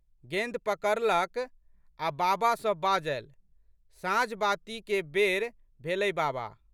गेंद पकड़लक आ बाबा सँ बाजलि, साँझबातीके बेर भेलै बाबा।